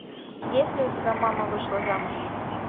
есть ли у тебя мама вышла замуж